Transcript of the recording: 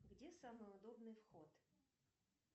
где самый удобный вход